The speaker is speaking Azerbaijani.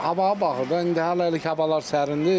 Havaya baxır da, indi hələlik havalar sərindir.